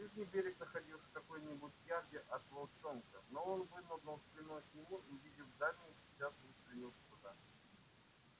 ближний берег находился в каком нибудь ярде от волчонка но он вынырнул спиной к нему и увидев дальний сейчас же устремился туда